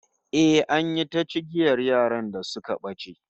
Eh, an yi ta cigiyar yaran da suka bace